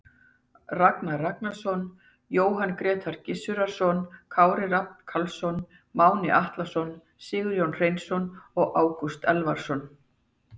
Ragnar Ragnarsson, Jóhann Grétar Gizurarson, Kári Rafn Karlsson, Máni Atlason, Sigurjón Hreinsson og Ágúst Elvarsson.